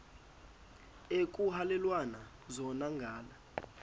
ekuhhalelwana zona ngala